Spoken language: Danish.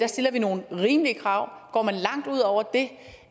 stiller vi nogle rimelige krav går man langt ud over det